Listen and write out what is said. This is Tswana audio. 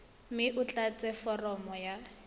mme o tlatse foromo ya